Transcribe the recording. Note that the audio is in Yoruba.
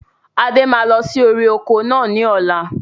Adé máa lọ sí orí oko náà ni ọ̀la